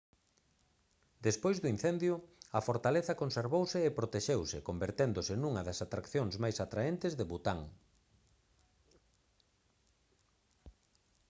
despois do incendio a fortaleza conservouse e protexeuse converténdose nunha das atraccións máis atraentes de bután